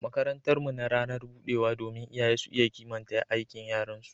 makarantar mu na ranar budewa domin iyaye su iya kimanta aikin yaran su